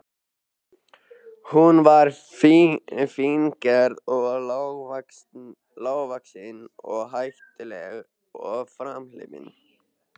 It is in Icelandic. Hún var fíngerð og lágvaxin og hæglát og framhleypin.